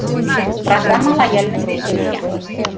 программа лояльности крылья